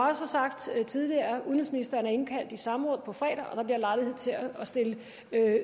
har sagt tidligere er udenrigsministeren kaldt i samråd på fredag og der bliver lejlighed til at stille